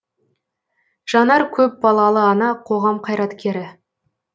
жанар көпбалалы ана қоғам қайраткері